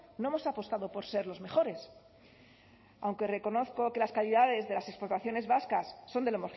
no hemos apostado por ser los mejores aunque reconozco que las calidades de las exportaciones vascas son de lo